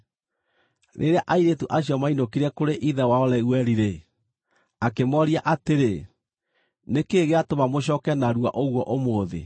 Rĩrĩa airĩtu acio maainũkire kũrĩ ithe wao Reueli-rĩ, akĩmooria atĩrĩ, “Nĩ kĩĩ gĩatũma mũcooke narua ũguo ũmũthĩ?”